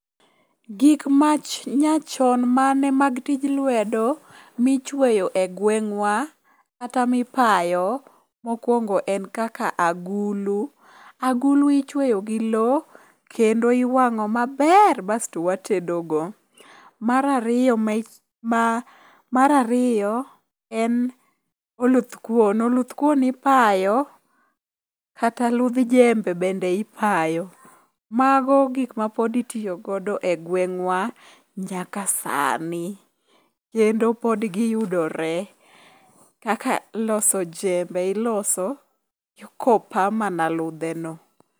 Gik manyachon mane mag tij lwedo michweyo e gwengwa kata mipayo mokwongo en kaka agulu. Agulu ichweyo gi lo kendo iwang'o maber basto watedogo. Mar ariyo en oluth kuon, oluth kuon ipayo kata ludh jembe bende ipayo. Mago gikma pod itiyogodo e gweng'wa nyaka sani kendo pod giyudore kaka loso jembe iloso kopa mana ludheno.